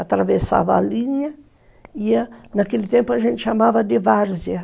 Atravessava a linha e, ia, naquele tempo, a gente chamava de Várzea.